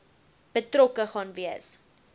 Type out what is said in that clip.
betrokke gaan wees